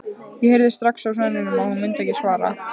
Ég heyrði strax á sóninum að hún myndi ekki svara.